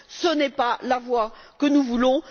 Ce n'est pas la voie que nous voulons.